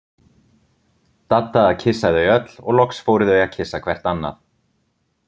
Dadda að kyssa þau öll og loks fóru þau að kyssa hvert annað.